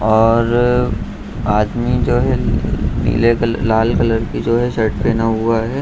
और आदमी जो है पीले कलर लाल कलर की जो है शर्ट पहना हुआ है।